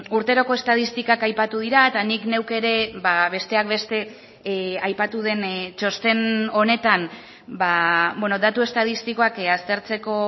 urteroko estatistikak aipatu dira eta nik neuk ere besteak beste aipatu den txosten honetan datu estatistikoak aztertzeko